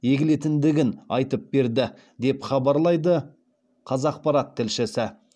егілетіндігін айтып берді деп хабарлайды қазақпарат тілшісі